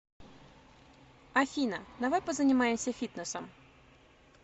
афина давай позанимаемся фитнесом